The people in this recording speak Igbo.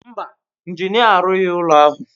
Mba, injinia arụghị ụlọ ahụ.